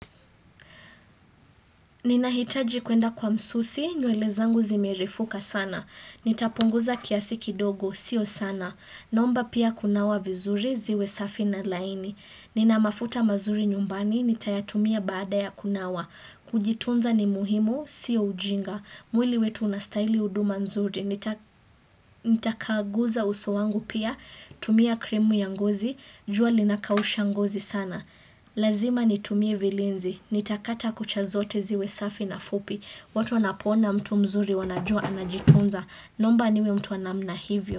Ninahitaji kuenda kwa msusi, nywele zangu zimerifuka sana. Nitapunguza kiasi kidogo, sio sana. Naomba pia kunawa vizuri, ziwe safi na laini. Nina mafuta mazuri nyumbani, nitayatumia baada ya kunawa. Kujitunza ni muhimu, sio ujinga. Mwili wetu unastahili huduma nzuri. Nitakaaguza uso wangu pia, kutumia krimu ya ngozi, jua linakausha ngozi sana. Lazima nitumie vilinzi, nitakata kucha zote ziwe safi na fupi watu wanapoona mtu mzuri wanajua anajitunza Naomba niwe mtu wa namna hivyo.